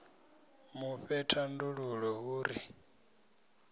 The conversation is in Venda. mu fhe thandululo hu ri